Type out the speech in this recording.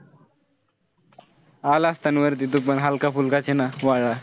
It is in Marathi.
आला असता ना वरती. तूपण हलकाफुलकाच आहे ना वाळला.